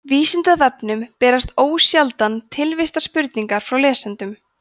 vísindavefnum berast ósjaldan tilvistarspurningar frá lesendum